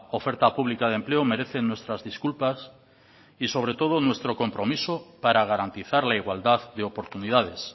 oferta pública de empleo merecen nuestras disculpas y sobre todo nuestro compromiso para garantizar la igualdad de oportunidades